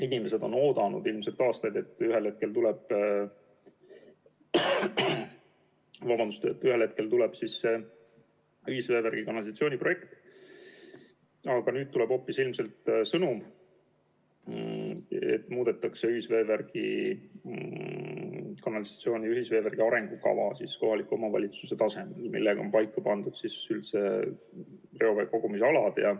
Inimesed on oodanud aastaid, et ühel hetkel tuleb see ühisveevärgi ja -kanalisatsiooni projekt, aga nüüd tuleb ilmselt hoopis sõnum, et kohaliku omavalitsuse tasemel muudetakse ühisveevärgi ja -kanalisatsiooni arengukava, millega on paika pandud reovee kogumisalad.